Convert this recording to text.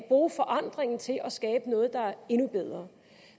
bruge forandringen til at skabe noget der er endnu bedre